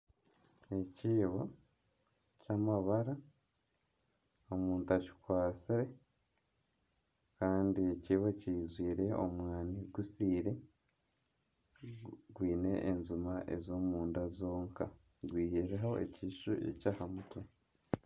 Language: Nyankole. Ekiibo ky'amabara omuntu akikwatsire kandi ekiibo kijwire omwana gusiire, gwine enjuma ez'omunda zonka gwihireho ekishushu eky'aha mutwe